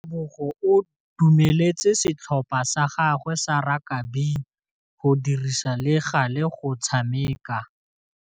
Tebogô o dumeletse setlhopha sa gagwe sa rakabi go dirisa le galê go tshameka.